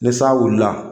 Ni san wulila